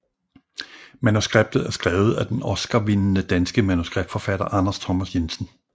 Manuskriptet er skrevet af den Oscarvindende danske manuskriptforfatter Anders Thomas Jensen